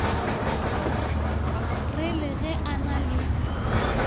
re le ge a na